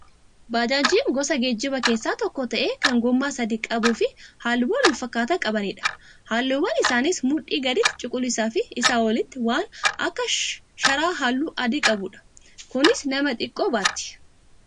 Baajaajiin gosa geejjibaa keessaa tokko ta'ee kan gommaa sadii qabuu fi halluuwwan wal fakkaataa qabanidha. Halluun isaaniis mudhii gaditti cuquliisaa fi isaa olitti waan akka sharaa halluu adii qabudha. Kunis nama xiqqoo baatti.